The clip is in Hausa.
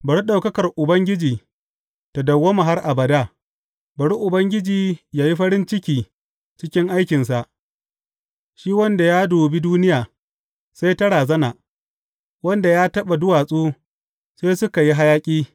Bari ɗaukakar Ubangiji ta dawwama har abada; bari Ubangiji yă yi farin ciki cikin aikinsa, shi wanda ya dubi duniya, sai ta razana, wanda ya taɓa duwatsu, sai suka yi hayaƙi.